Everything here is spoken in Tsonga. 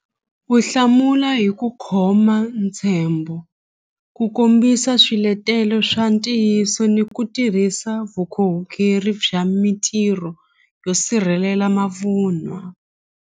Ku hlamula hi ku khoma ntshembo ku kombisa swiletelo swa ntiyiso ni ku tirhisa vukorhokeri bya mintirho yo sirhelela mavunwa.